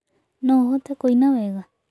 No ũhote kũina wega?